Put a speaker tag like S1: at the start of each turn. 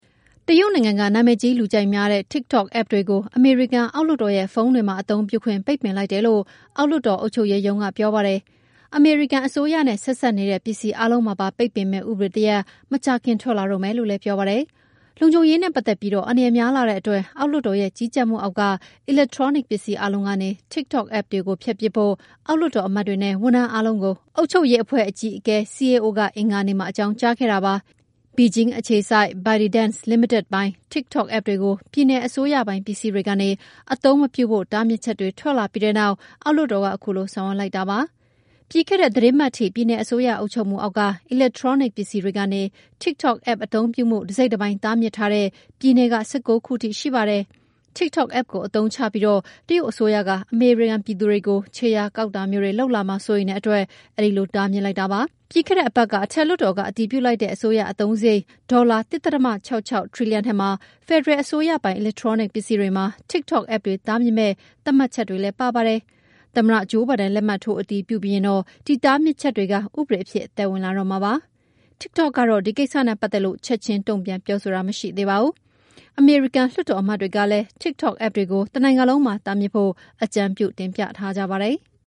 S1: တရုတ်နိုင်ငံကနာမည်ကြီး လူကြိုက်များတဲ့ TikTok App တွေကို အမေရိကန်အောက်လွှတ်တော်ရဲ့ ဖုန်းတွေမှာ အသုံးပြုခွင့်ပိတ်ပင်လိုက်တယ်လို့ အောက်လွှတ်တော်အုပ်ချုပ်ရေးရုံး ကပြောပါတယ်။ အမေရိကန်အစိုးရနဲ့ဆက်စပ်နေတဲ့ ပစ္စည်း အားလုံးမှာပါ ပိတ်ပင်မယ့် ဥပဒေတရပ် မကြာခင်ထွက်လာတော့မယ်လို့လည်း ပြောပါတယ်။ လုံခြုံရေးနဲ့ပတ်သက်ပြီး အန္တရာယ်များလှတဲ့အတွက် အောက်လွှတ်တော်ရဲ့ကြီးကြပ်မှုအောက်က အီလက်ထရောနစ်ပစ္စည်းတွေအားလုံးကနေ TikTok App ကိုဖျက်ပစ်ဖို့ အောက်လွှတ်တော်အမတ်တွေနဲ့ ဝန်ထမ်းအားလုံးကို အုပ်ချုပ်ရေးအဖွဲ့ အကြီးအကဲ CAO က အင်္ဂါနေ့မှာ အကြောင်းကြားခဲ့တာပါ။ Beijing အခြေစိုက် ByteDance လီမီတက်ပိုင် TikTok App တွေကို ပြည်နယ်အစိုးရပိုင် ပစ္စည်းတွေကနေ အသုံးပြုမပြုဖို့ တားမြစ်ချက်တွေထွက်လာပြီးတဲ့နောက် အောက်လွှတ်တော်က ခုလိုဆောင်ရွက်လိုက်တာဖြစ်ပါတယ်။ ပြီးခဲ့တဲ့သီတင်းပတ်ထိ ပြည်နယ်အစိုးရ အုပ်ချုပ်မှုအောက်က အီလက်ထရောနစ်ပစ္စည်းတွေကနေ TikTok App အသုံးပြုမှု တစိတ်တပိုင်း တားမြစ်ထားတဲ့ ပြည်နယ် ၁၉ ခုထိ ရှိပါတယ်။ TikTok App ကိုအသုံးချပြီး တရုတ်အစိုးရက အမေရိကန်ပြည်သူတွေကို ခြေရာကောက်တာမျိုးတွေလုပ်လာမှာ စိုးရိမ်တဲ့အတွက် အဲဒီလိုတားမြစ်လိုက်တာပါ။ ပြီးခဲ့တဲ့တပတ်ကအထက်လွှတ်တော်က အတည်ပြုလိုက်တဲ့ အစိုးရအသုံးစားရိတ် ဒေါ်လာ ၁.၆၆ ထရီလီယံထဲမှာ ဖယ်ဒရယ်အစိုးရပိုင် အီလက်ထရောနစ်ပစ္စည်းတွေမှာ TikTok app တွေ တားမြစ်မယ့် သတ်မှတ်ချက်လည်းပါဝင်ပါတယ်။ သမ္မတ ဂျိုးဘိုင်ဒန်လက်မှတ်ထိုးအတည်ပြုပြီးရင်တော့ ဒီတားမြစ်ချက်တွေ ဥပဒေအဖြစ်အသက်ဝင်လာတော့မှာဖြစ်ပါတယ်။ TikTok ကတော့ ဒီကိစ္စနဲ့ပတ်သက်လိ့ု ချက်ချင်း တုန့်ပြန်ပြောဆိုတာမရှိသေးပါဘူး။ အမေရိကန်လွှတ်တော်အမတ်တွေကလည်း TikTok App ကို တနိုင်ငံလုံးမှာ တားမြစ်ဖို့ အကြံပြုတင်ပြထားကြပါတယ်။